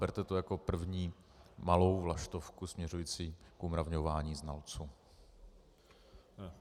Berte to jako první malou vlaštovku směřující k umravňování znalců.